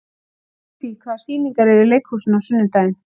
Bíbí, hvaða sýningar eru í leikhúsinu á sunnudaginn?